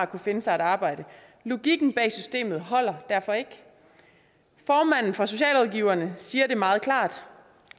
kunne finde sig et arbejde logikken bag systemet holder derfor ikke formanden for socialrådgiverne siger det meget klart